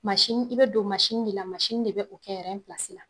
i be don de la, de bɛ o kɛ la.